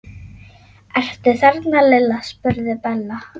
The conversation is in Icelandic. Ertu þarna Lilla? spurði Bella.